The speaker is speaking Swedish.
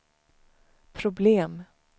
problem